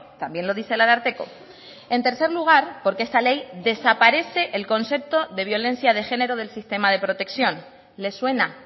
también lo dice el ararteko en tercer lugar porque esta ley desaparece el concepto de violencia de género del sistema de protección les suena